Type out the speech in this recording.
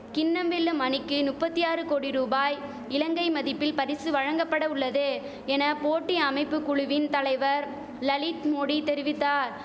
கிண்ணம் வெல்லும் அணிக்கு நுப்பத்தி ஆறு கோடி ரூபாய் இலங்கை மதிப்பில் பரிசு வழங்கபட உள்ளது என போட்டி அமைப்பு குழுவின் தலைவர் லலித் மோடி தெரிவித்தார்